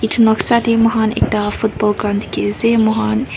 etu noksa te ekta football ground dekhi ase moi khan.